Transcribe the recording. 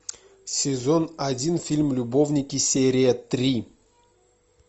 сезон один фильм любовники серия три